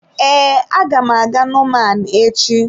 Ee, aga m aga nomaan echi.